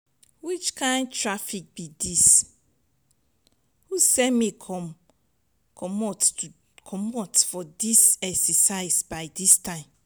which kin traffic be dis? who send me come comot comot for exercise by dis time?